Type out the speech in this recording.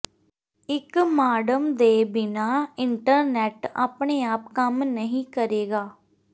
ਇੱਕ ਮਾਡਮ ਦੇ ਬਿਨਾਂ ਇੰਟਰਨੈਟ ਆਪਣੇ ਆਪ ਕੰਮ ਨਹੀਂ ਕਰੇਗਾ